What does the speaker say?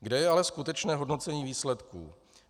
Kde je ale skutečné hodnocení výsledků?